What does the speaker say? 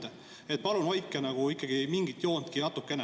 Nii et palun hoidke mingitki joont natukene.